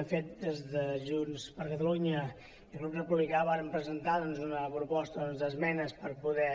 de fet des de junts per catalunya i el grup republicà vàrem presentar doncs una proposta d’esmenes per poder